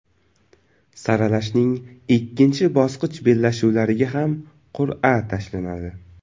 Saralashning ikkinchi bosqich bellashuvlariga ham qur’a tashlanadi.